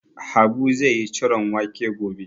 Habu zai yi ciron wake gobe.